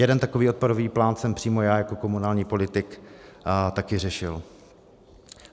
Jeden takový odpadový plán jsem přímo já jako komunální politik taky řešil.